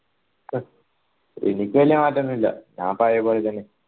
എനിക്ക് വെല്യ മാറ്റൊന്നില്ല ഞാൻ പഴേ പോലെന്നെ